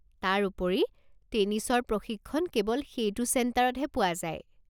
তাৰোপৰি, টেনিছৰ প্ৰশিক্ষণ কেৱল সেইটো চেণ্টাৰতহে পোৱা যায়।